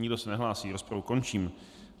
Nikdo se nehlásí, rozpravu končím.